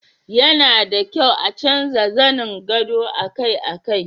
yana da kyau a canza zanen gado akai-akai